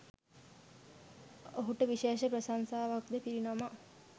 ඔහුට විශේෂ ප්‍රශංසාවක්‌ද පිරිනමා